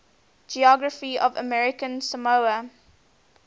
geography of american samoa